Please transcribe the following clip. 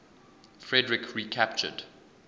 frederik recaptured